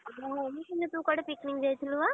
ହଁ ମୁଁ ଶୁଣିଲି ତୁ କୁଆଡେ picnic ଯାଇଥିଲୁ ବା?